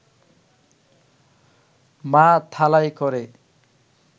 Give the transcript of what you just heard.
মা থালায় করে